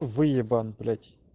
выебан блять